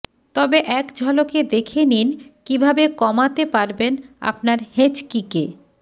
তবে এক ঝলকে দেখে নিন কীভাবে কমাতে পারবেন আপনার হেঁচকিকে